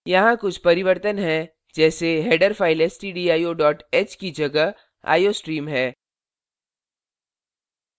यहाँ कुछ परिवर्तन हैं जैसे header फ़ाइल stdio h की जगह iostream है